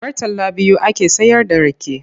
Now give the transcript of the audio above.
Murtala biyu ake sayarda rake.